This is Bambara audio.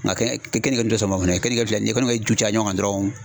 Nga kenike dun te sɔn o ma fɛnɛ. Kenike filɛ nin ye ni ye kenike ju caya ɲɔgɔn kan dɔrɔn